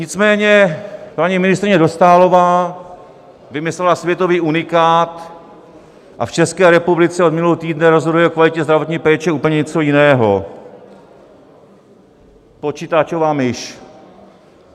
Nicméně paní ministryně Dostálová vymyslela světový unikát a v České republice od minulého týdne rozhoduje o kvalitě zdravotní péči úplně něco jiného - počítačová myš.